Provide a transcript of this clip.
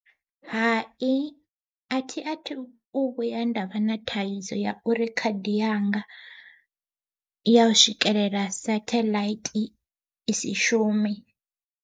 Hai athi athu vhuya nda vha na thaidzo ya uri khadi yanga ya u swikelela setheḽaithi i si shume.